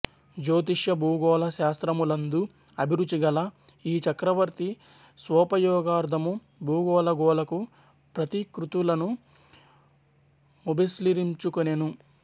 జ్యోతిష్యభూగోళ శాస్త్రములందు అభిరుచి గల యీ చక్రవర్తి స్వోపయోగార్ధము భూగోళఖగోలకు ప్రతికృతులను ఘ్లొబెస్నిర్మించుకొనెను